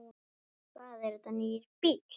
Hvað, er þetta nýr bíll?